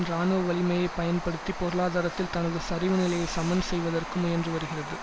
இராணுவ வலிமையை பயன்படுத்தி பொருளாதாரத்தில் தனது சரிவுநிலையை சமன் செய்வதற்கு முயன்றுவருகிறது